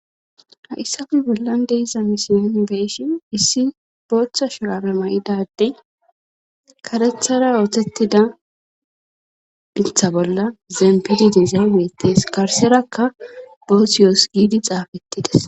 Hayssafi bollan deiza misiyoon beishin issi booththa sholare ma'idadey karethara ootettida iltha bolla zeempidi de zabetees karserakka boosi yoos giidi xaafettides.